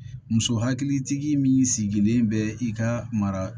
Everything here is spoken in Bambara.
Muso hakilitigi min sigilen bɛ i ka mara